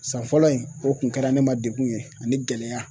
San fɔlɔ in o tun kɛra ne ma degun ye ani gɛlɛya